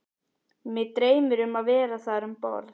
Mig dreymir mig vera þar um borð